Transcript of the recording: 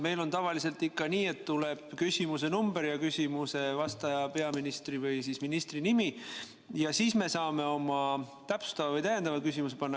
Meil on tavaliselt ikka nii, et öeldakse küsimuse number ja küsimusele vastaja, peaministri või ministri nimi ja siis me saame oma täpsustava või täiendava küsimuse panna.